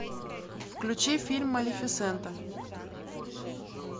включи фильм малефисента